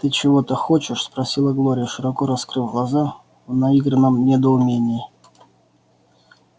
ты чего-то хочешь спросила глория широко раскрыв глаза в наигранном недоумении